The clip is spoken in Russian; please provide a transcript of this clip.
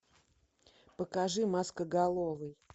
покажи маскоголовый